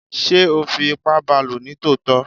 sé o fí ipá baló ní tòtọ?